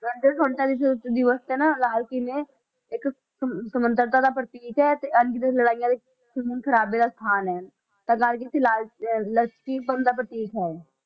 ਕਹਿੰਦੇ ਸੁਤੰਤਰਤਾ ਦਿਵਸ ਦਿਵਸ ਤੇ ਨਾ ਲਾਲ ਕਿਲ੍ਹੇ ਇੱਕ ਸ~ ਸੁਤੰਤਰਤਾ ਦਾ ਪ੍ਰਤੀਕ ਹੈ ਤੇ ਅਣਗਿਣਤ ਲੜਾਈਆਂ ਵਿੱਚ ਖੂਨ ਖ਼ਰਾਬੇ ਦਾ ਸਥਾਨ ਹੈ, ਤਾਂ ਰਾਜਨੀਤੀ ਲਾਲ ਪ੍ਰਤੀਕ ਹੈ ਇਹ।